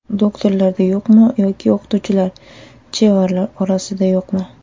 Doktorlarda yo‘qmi yoki o‘qituvchilar, chevarlar orasida yo‘qmi?